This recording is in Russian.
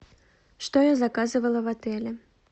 что я заказывала в отеле